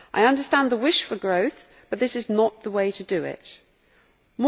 I understand the wish for growth but this is not the way to achieve it.